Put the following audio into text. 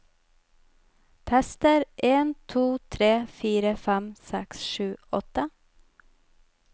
Tester en to tre fire fem seks sju åtte